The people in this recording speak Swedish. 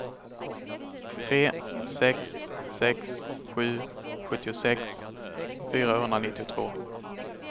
tre sex sex sju sjuttiosex fyrahundranittiotvå